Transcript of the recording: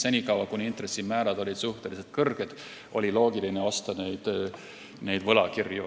Senikaua, kuni intressimäärad olid suhteliselt kõrged, oli loogiline osta võlakirju.